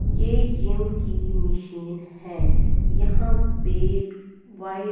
ये जिम की मिशीन है यहाँ पे वाइट --